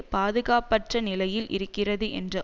பாதுகாப்பற்ற நிலையில் இருக்கிறது என்ற